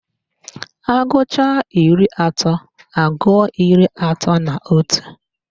Agụcha iri atọ, agụọ iri atọ na otu